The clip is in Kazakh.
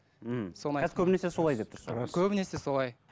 ммм көбінесе солай деп тұрсыз көбінесе солай